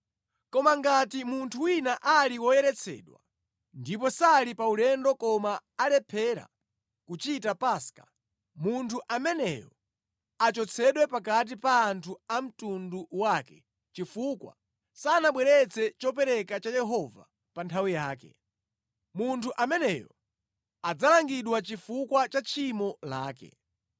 Koma ngati munthu wina ali woyeretsedwa ndipo sali pa ulendo koma alephera kuchita Paska, munthu ameneyo achotsedwe pakati pa anthu a mtundu wake chifukwa sanabweretse chopereka cha Yehova pa nthawi yake. Munthu ameneyo adzalangidwa chifukwa cha tchimo lake.